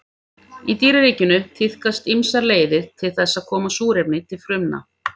Í dýraríkinu tíðkast ýmsar leiðir til þess að koma súrefni til frumna.